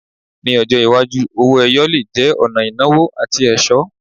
Ní ọjọ́ iwájú, owó-ẹyọ le jẹ́ ọ̀nà ìnáwó àti ẹ̀ṣọ́.